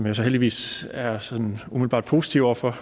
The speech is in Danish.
jo så heldigvis er sådan umiddelbart positiv over for